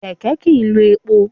Kẹ̀kẹ́ kì í lo epo.